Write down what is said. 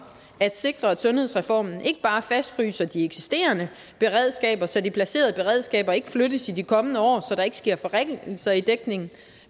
at sikre at sundhedsreformen fastfryser de eksisterende beredskaber så de placerede beredskaber ikke flyttes i de kommende år så der ikke sker forringelser i dækningen